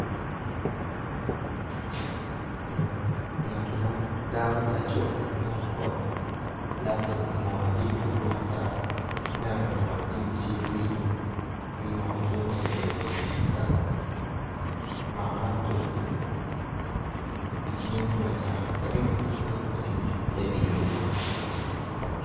Ngati mo dako laco laptop laptopi kimwono jami madong ata. Aneno kimwono jami cal winyo ki kimwono coc ma tye kala omako laptopi i cinge tung acam ki tye ka tic ki cinge tung acuc me diyone.